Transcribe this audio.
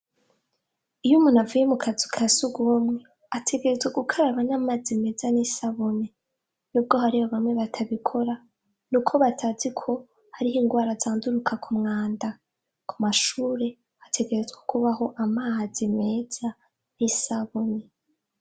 Iyo umuntu avuye mu kazu ka surwumwe ategerezwa gukaraba n'amazi meza n',isabuni. Nubwo hariho bamwe batabikora, nuko batazi ko har'ingwara zanduruka ku mwanda. Ku mashure hategerezwa kubaho amazi meza n'isabuni.